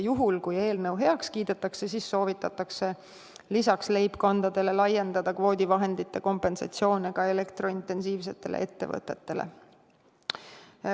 Juhul kui eelnõu heaks kiidetakse, siis soovitatakse lisaks leibkondadele laiendada kvoodivahendite kompensatsioone ka elektrointensiivsetele ettevõtetele.